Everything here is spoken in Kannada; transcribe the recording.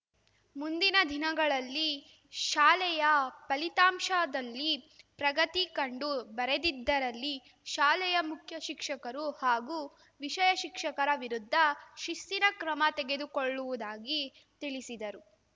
ಮುಂದಿನ ದಿನಗಳಲ್ಲಿ ಶಾಲೆಯ ಫಲಿತಾಂಶದಲ್ಲಿ ಪ್ರಗತಿ ಕಂಡು ಬರೆದಿದ್ದರಲ್ಲಿ ಶಾಲೆಯ ಮುಖ್ಯ ಶಿಕ್ಷಕರು ಹಾಗೂ ವಿಷಯ ಶಿಕ್ಷಕರ ವಿರುದ್ಧ ಶಿಸ್ತಿನ ಕ್ರಮ ತೆಗೆದುಕೊಳ್ಳುವುದಾಗಿ ತಿಳಿಸಿದರು